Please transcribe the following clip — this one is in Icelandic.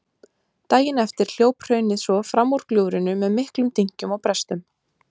Daginn eftir hljóp hraunið svo fram úr gljúfrinu með miklum dynkjum og brestum.